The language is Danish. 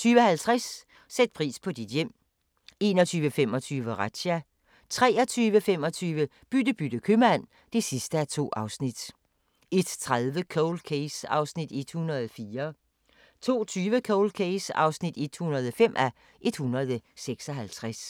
20:50: Sæt pris på dit hjem 21:25: Razzia 23:25: Bytte bytte købmand (2:2) 01:30: Cold Case (104:156) 02:20: Cold Case (105:156)